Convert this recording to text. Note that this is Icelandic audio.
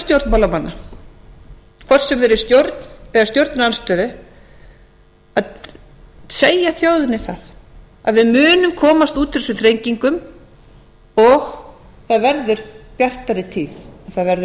stjórnmálamanna hvort sem þeir eru í stjórn eða stjórnarandstöðu að segja þjóðinni það að við munum komast út úr þessum þrengingum og það verður bjartari tíð það verður erfitt